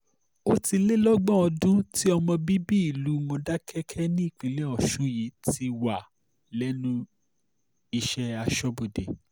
ó ti lé lọ́gbọ̀n ọdún tí ọmọ bíbí ìlú módékákì nípínlẹ̀ ọ̀ṣun yìí ti wà lẹ́nu iṣẹ́ aṣọ́bodè